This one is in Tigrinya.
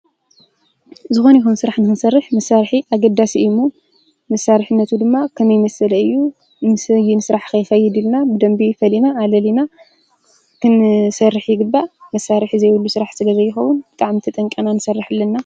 ዝኮነ ይኩን ስራሕ ንክንሰርሕ መሳርሒ ኣገደስቲ እዩ እሞ መሳርሒነቱ ድማ ከመይ መሰለ እዩ ምስ ኣይን ስራሕ ከ ይከይድ ኢልና ብደንቢ ፈሊና ኣለሊና ክንሰርሕ ይግባእ። መሳርሒ ዘየብሉ ስራሕ ስለ ዘይከዉን ብጣዕሚ ተጠንቂቅና ክንሰርሕ ኣለና ፡፡